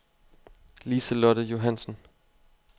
Liselotte Johansson